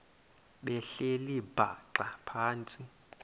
behleli bhaxa phantsi